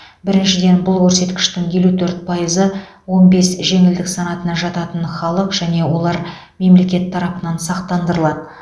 біріншіден бұл көрсеткіштің елу төрт пайызы он бес жеңілдік санатына жататын халық және олар мемлекет тарапынан сақтандырылады